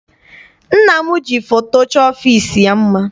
Nna m ji foto chọọ ọfịịsi ya mma.